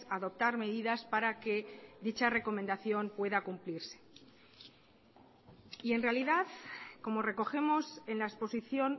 a adoptar medidas para que dicha recomendación pueda cumplirse y en realidad como recogemos en la exposición